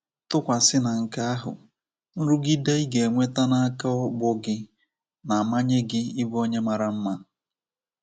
Tụkwasị na nke ahụ, nrụgide ị ga enweta n'aka ọgbọ gị na-amanye gị ịbụ onye mara mma.